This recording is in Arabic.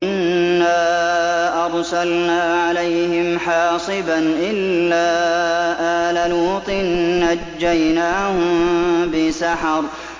إِنَّا أَرْسَلْنَا عَلَيْهِمْ حَاصِبًا إِلَّا آلَ لُوطٍ ۖ نَّجَّيْنَاهُم بِسَحَرٍ